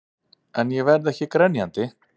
En ég verð ekki grenjandi.